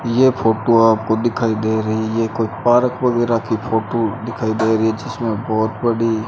यह फोटो आपको दिखाई दे रही है कोई पार्क वगैरा की फोटो दिखाई दे रही है जिसमें बहोत बड़ी --